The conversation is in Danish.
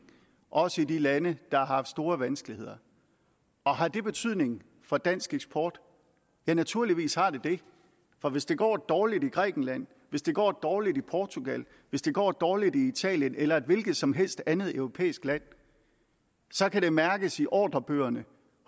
også i de lande der har store vanskeligheder har det betydning for dansk eksport ja naturligvis har det det for hvis det går dårligt i grækenland hvis det går dårligt i portugal hvis det går dårligt i italien eller i et hvilket som helst andet europæisk land kan det mærkes i ordrebøgerne